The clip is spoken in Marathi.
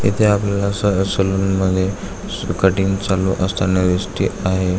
इथे आपल्याला अस सलून मध्ये कटींग चालू असताना दिसते आहे.